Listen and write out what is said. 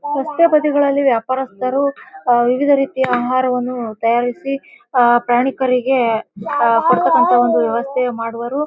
ರಸ್ತೆ ಬದಿಗಳಲ್ಲಿ ವ್ಯಾಪಾರಸ್ಥರು ಅಹ್ ವಿವಿಧ ರೀತಿಯ ಆಹಾರವನ್ನು ತಯಾರಿಸಿ ಅಹ್ ಪ್ರಯಾಣಿಕರಿಗೆ ಅಹ್ ಕೊಡತಕ್ಕ್ನಥ ಒಂದು ವ್ಯವಸ್ಥೆ ಮಾಡುವರು .